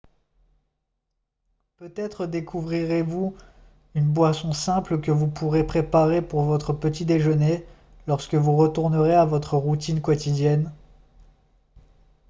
peut-être découvrirez-vous une boisson simple que vous pourrez préparer pour votre petit déjeuner lorsque vous retournerez à votre routine quotidienne